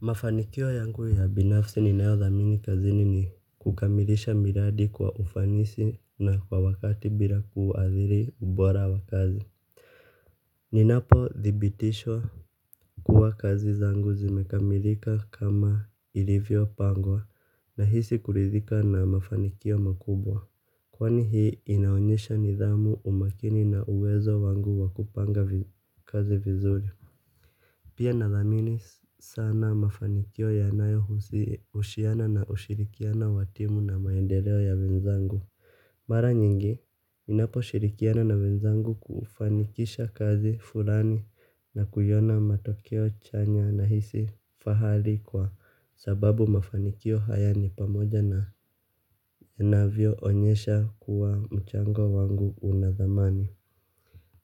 Mafanikio yangu ya binafsi ninayo dhamini kazini ni kukamilisha miradi kwa ufanisi na kwa wakati bila kuathiri ubora wakazi. Ninapothibitisha kuwa kazi zangu zimekamilika kama ilivyopangwa nahisi kurithika na mafanikio makubwa. Kwani hii inaonyesha nidhamu umakini na uwezo wangu wa kupanga kazi vizuri. Pia nathamini sana mafanikio yanayo husiana na ushirikiano wa timu na maendeleo ya wenzangu. Mara nyingi, ninaposhirikiana na wenzangu kufanikisha kazi fulani na kuona matokeo chanya nahisi fahari kwa sababu mafanikio haya ni pamoja na ninavyoonyesha kuwa mchango wangu una thamani.